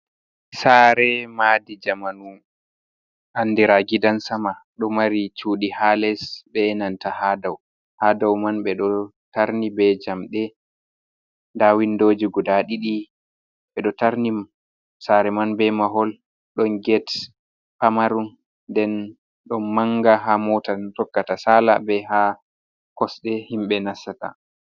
Saare maadi jamanu andira gidan sama. Ɗo mari cuɗi ha les, be nanta ha dou. Ha dou man ɓe ɗo tarni be jamɗe. Nda windoji guda ɗiɗi. Ɓe ɗo tarni sare man be mahol, ɗon get pamaron. Nden ɗon manga ha mota tokkata sala, be ha kosɗe himɓe nasata.